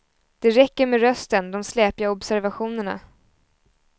Det räcker med rösten, de släpiga observationerna.